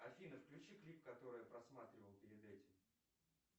афина включи клип который я просматривал перед этим